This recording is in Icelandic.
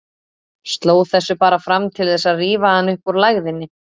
Sló þessu bara fram til þess að rífa hann upp úr lægðinni.